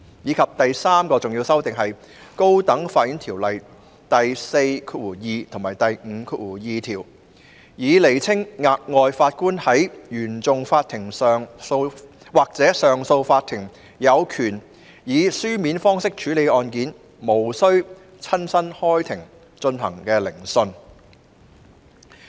至於第三項重要修訂，是修訂《條例》第42條及第52條，以釐清額外法官在原訟法庭或上訴法庭有權以書面方式處理案件，無須親身開庭進行的聆訊。